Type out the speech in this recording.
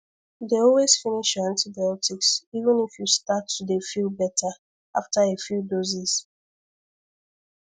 dey always finish your antibiotics even if you start to dey feel better after a few doses